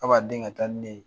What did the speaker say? A b'a dɛn ka taa ni ne ye.